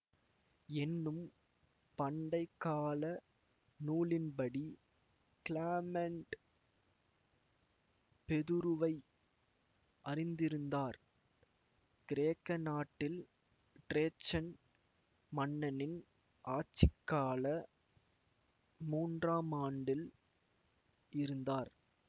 என்னும் பண்டை கால நூலின்படி கிளாமெண்ட் பெதுருவை அறிந்திருந்தார் கிரேக்க நாட்டில் ட்ரேஜன் மன்னனின் ஆட்சிக்கால மூன்றாம் ஆண்டில் இருந்தார்